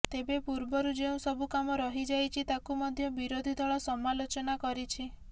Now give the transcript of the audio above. ତେବେ ପୂର୍ବରୁ ଯେଉଁ ସବୁ କାମ କରାଯାଇଛି ତାକୁ ମଧ୍ୟ ବିରୋଧୀ ଦଳ ସମାଲୋଚନା କରିଛି